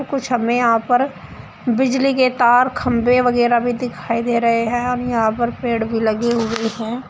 कुछ हमें यहां पर बिजली के तार खंबे वगैरा भी दिखाई दे रहे हैं हम यहां पर पेड़ भी लगी हुई है।